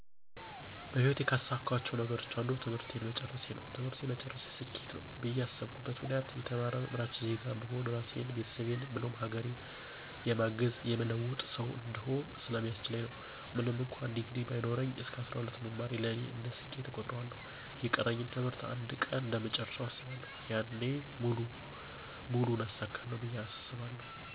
በህይወቴ ካሳካኋቸው ነገሮች አንዱ ትምህርቴን መጨረሴ ነው። ትምህርቴን መጨረሴ ስኬት ነው ብዬ ያስብኩበት ምክንያት የተማረ አምራች ዜጋ በመሆን ራሴን፣ ቤተሰቦቼን ብሎም ሀገሬን የማግዝ፣ የምለውጥ ሠው እንድሆን ስለሚያስችለኝ ነው። ምንም እንኩአን ዲግሪ ባይኖረኝ እስከ 12 መማሬ ለእኔ እንደ ስኬት እቆጥረዋለሁ። የቀረኝን ትምህርት አንድ ቀን እንደምጨርሰው አስባለሁ። ያኔ ሙሉውን አሳካለሁ ብየ አስባለሁ።